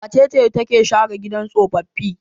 Wace ce take share gidan tsofaffi?